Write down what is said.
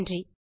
நன்றி